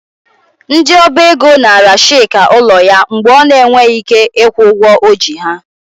Ndị Ọba ego naara Chika ụlọ ya mgbe ọ na-enweghị ike ịkwụ ụgwọ o ji ha.